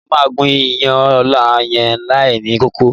Mo máa gún iyán ọ̀la yẹn láìní kókó.